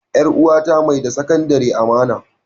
E, 'yar uwata mai da Sakandare amana.